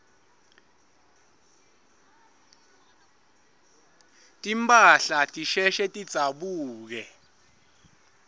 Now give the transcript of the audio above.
timphahla tisheshe tidzabuke